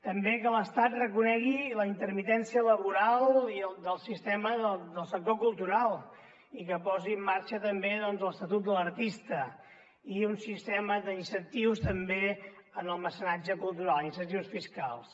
també que l’estat reconegui la intermitència laboral del sector cultural i que posi en marxa l’estatut de l’artista i un sistema d’incentius també en el mecenatge cultural incentius fiscals